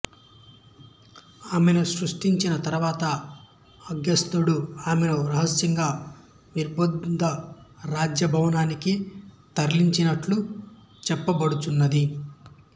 ఆమెను సృష్టించిన తరువాత అగత్స్యడు ఆమెను రహస్యంగా విదర్భ రాజ భవనానికి తరలించినట్లు చెప్పబడుచున్నది